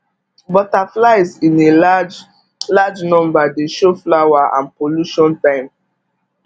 butterflies in a large large number dey show flower and pollution time